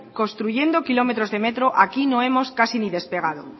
construyendo kilómetros de metro aquí no hemos casi ni despegado